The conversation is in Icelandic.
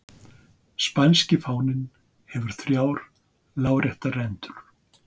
Spænski fáninn hefur þrjár láréttar rendur.